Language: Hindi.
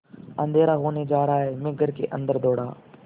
अँधेरा होने जा रहा है मैं घर के अन्दर दौड़ा